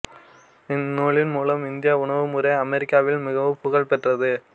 இந்நூலின் மூலம் இந்திய உணவுமுறை அமெரிக்காவில் மிகவும் புகழ் பெற்றது